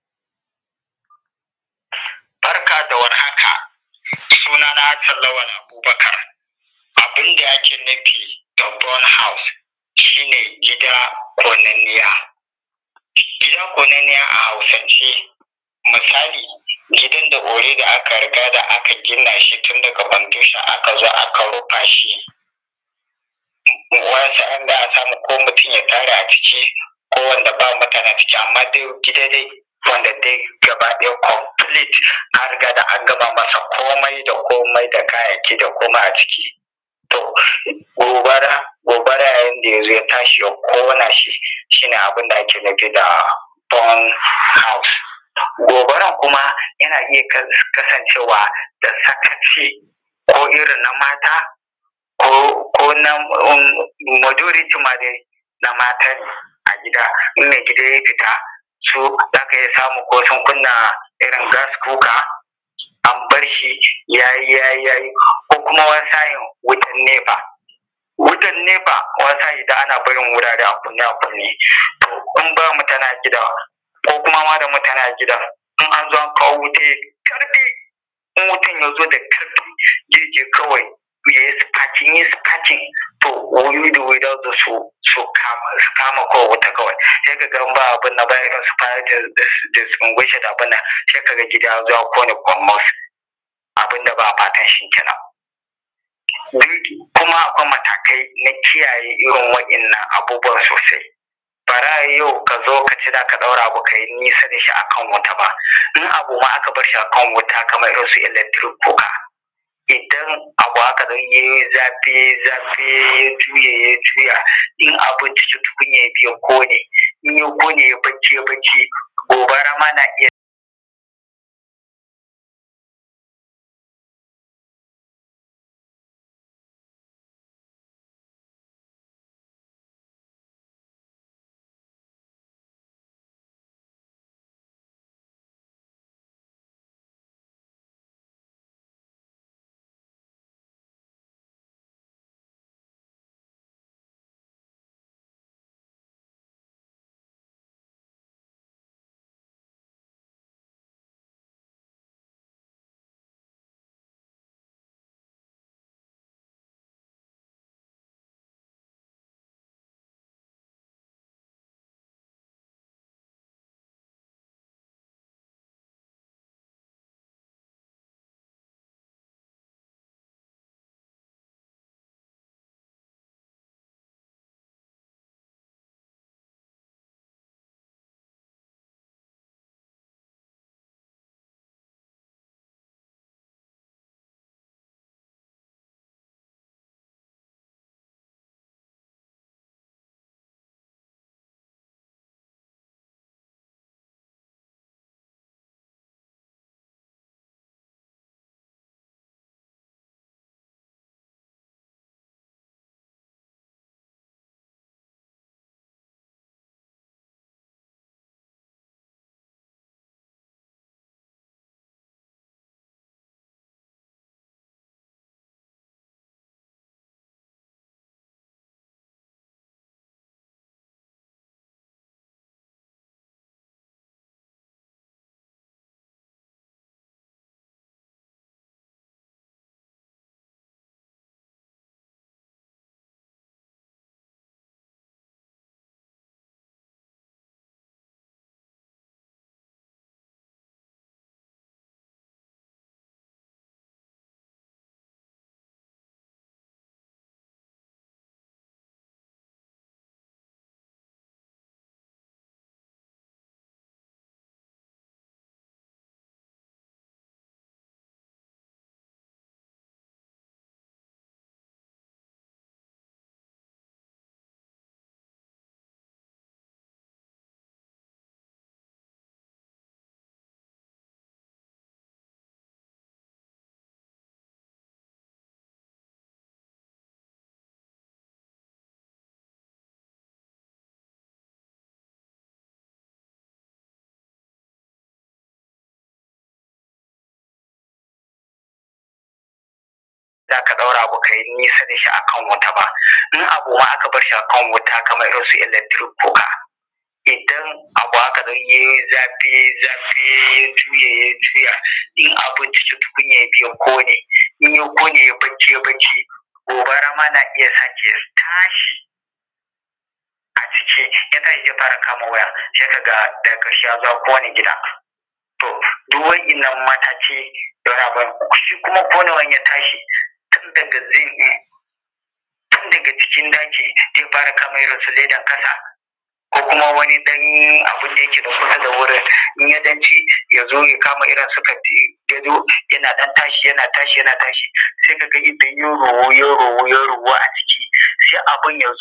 Barka da warhaka, suna na Hassan Lawal Abubakar abun da ake nufi da burnt house, shi ne gida ƙonanniya. Gida ƙonanniya a Hausance misali gidan da already aka riga da aka gina shi tun daga foundation aka zo aka rufa shi ko mutum ya tare a ciki ko wanda ba mutane a ciki, amma dai wanda dai gaba ɗaya complete an riga ga an gama masa komai da komai da kayayyaki da komai a ciki gobara, yayin da ya zo ya tashi ya ƙona shi, shi ne abun da ake nufi da burnt house. Gobarar kuma yana iya kasancewa da sakaci ko irin na mata ko na majority ma na matane a gida tun da idan ya fita za ka iya samun ko sun kunna irin gas cooker an bar shi ya yi, ya yi ko kuma wani sa’in wutan nefa, wutan nefa ana barin wurare a kunne, a kunne in ba mutane a gidan koma da mutane a gidan in an zo, an kawo wutan in wutan ya zo da ƙarfi zai iya ya yi spark in ya yi sparking su kama wutan kawai distinguishing abunnan sai kaga gida yazo ya kone kurmus abunda ba'a fatanshi kenan. Kuma Akwai matakai na kiyaye irin waɗannan abubuwan sosai barayi yau kazo ka ce zaka daura abu akan wuta kabarshi ka nesa dashi ka barshi akan wuta ba, in abu aka barshi akan wuta kamar irinsu electric cooker idan abu ya yayi zaf zafi ya juye ya juya in abun cikin tukunya ya kone ya yayi barci, gobara ma na iya ka daura ka barshi akan wuta yayi zaf zafi ya juye ya juya in abun cikin tukunya ya kone ya yayi barci gobara ma na iya sa ya tashi kama waya koma konewan ya shi zai fara kama zin din tun daga cikin daki zai fara kama leda kasa ko kuma su katifa, sai kaga in abun ya tashi ya sai abun ya